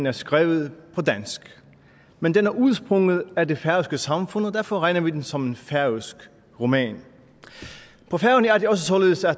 er skrevet på dansk men den udsprunget er af det færøske samfund og derfor regner vi den som en færøsk roman på færøerne er det også således at